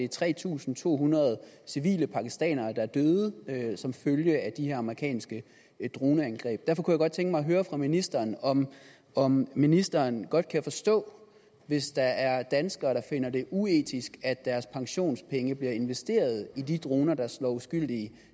tre tusind to hundrede civile pakistanere er døde som følge af de her amerikanske droneangreb derfor kunne jeg godt tænke mig at høre fra ministeren om om ministeren godt kan forstå hvis der er danskere der finder det uetisk at deres pensionspenge bliver investeret i de droner der slår uskyldige